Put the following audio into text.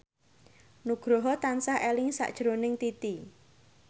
Nugroho tansah eling sakjroning Titi